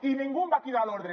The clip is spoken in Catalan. i ningú em va cridar a l’ordre